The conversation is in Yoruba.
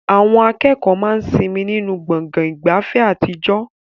Àwọn akẹ́kọ̀ọ́ máa ń sinmi nínú gbọ̀ngàn ìgbafẹ́ àtijọ́.